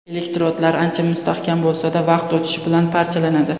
Elektrodlar ancha mustahkam bo‘lsa-da, vaqt o‘tishi bilan parchalanadi.